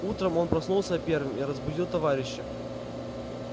утром он проснулся первым и разбудил товарища